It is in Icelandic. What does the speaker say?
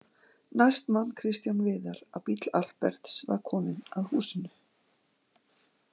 Næst man Kristján Viðar að bíll Alberts var kominn að húsinu.